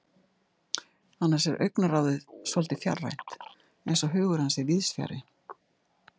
Annars er augnaráðið svolítið fjarrænt, eins og hugur hans sé víðsfjarri.